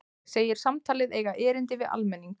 Segir samtalið eiga erindi við almenning